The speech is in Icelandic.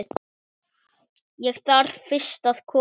Ég þarf fyrst að koma